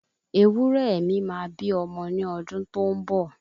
Ewúrẹ mi máa bí ọmọ ni ọdún tó ń bọ̀